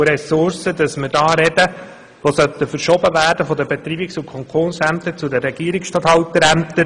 Wie viele Stellen und Ressourcen sollen von den Betreibungs- und Konkursämtern zu den Regierungsstatthalterämtern verschoben werden?